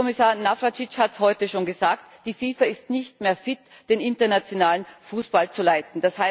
Kommissar Navracsics hat heute schon gesagt Die FIFA ist nicht mehr fit, den internationalen Fußball zu leiten.